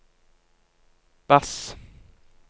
bass